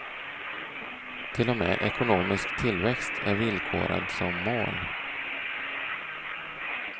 Till och med ekonomisk tillväxt är villkorad som mål.